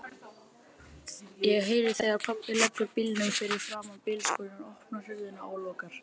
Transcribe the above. Ég heyri þegar pabbi leggur bílnum fyrir framan bílskúrinn, opnar hurðina og lokar.